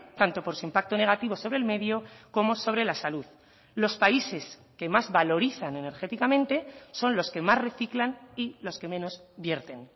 tanto por su impacto negativo sobre el medio como sobre la salud los países que más valorizan energéticamente son los que más reciclan y los que menos vierten